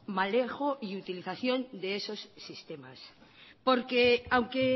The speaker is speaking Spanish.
manejo y utilización de esos sistemas porque aunque